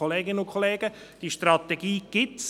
Kolleginnen und Kollegen, diese Strategie gibt es.